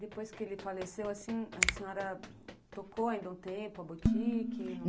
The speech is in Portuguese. Depois que ele faleceu, a senhora tocou ainda um tempo a botique?